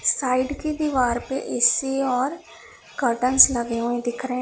Side की दीवार पे ए_सी और कर्टेन्स लगे हुए दिख रहे हैं।